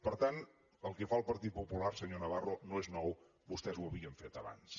per tant el que fa al partit popular senyor navarro no és nou vostès ho havien fet abans